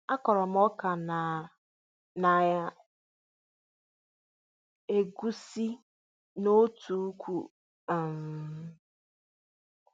A kụrụ m ọka na na egwusi n'otu uku um